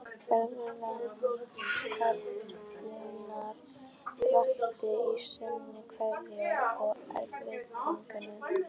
Berlínar vakti í senn kvíða og eftirvæntingu.